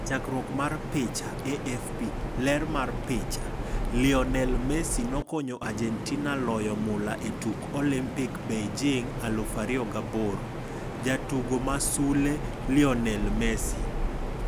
Chakruok mar picha, AFP . Ler mar picha, Lionel Messi, nokonyo Argentina loyo mula e tuk Olimpik Beijing 2008. Jatugo ma sule: Lionel Messi.